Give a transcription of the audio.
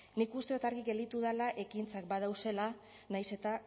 nik uste dut argi gelditu dela ekintzak badauzela nahiz eta